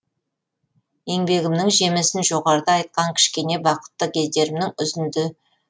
еңбегімнің жемісін жоғарыда айтқан кішкене бақытты кездерімнің үзінді